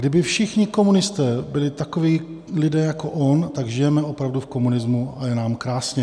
Kdyby všichni komunisté byli takoví lidé jako on, tak žijeme opravdu v komunismu a je nám krásně.